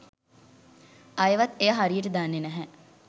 අයවත් එය හරියට දන්නේ නැහැ.